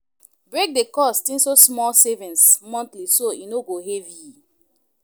Break the cost into small savings monthly so e no heavy.